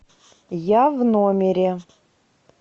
я в номере